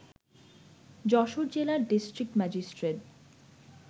যশোর জেলার district magistrate